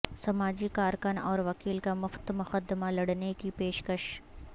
سماجی کارکن اور وکیل کا مفت مقدمہ لڑنے کی پیشکش